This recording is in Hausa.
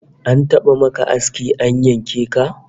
An taba maka aski an yanke ka?